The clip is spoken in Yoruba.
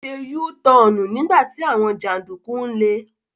Ó se Yúú tọọ̀nù nígbà tí àwọn jàǹdùkú ń le.